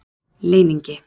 Leyningi